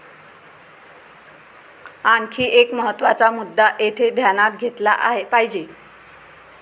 आणखी एक महत्वाचा मुद्दा येथे ध्यानात घेतला पाहिजे.